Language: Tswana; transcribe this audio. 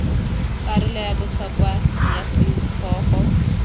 karolo ya botlhokwa ya setlhogo